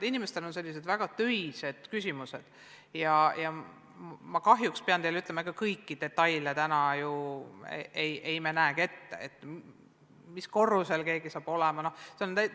Inimestel on sellised väga põhimõttelised töised küsimused, näiteks, kuidas saavad valmis ruumid, mis lähevad renoveerimisse, mis korrusel keegi hakkab olema jne.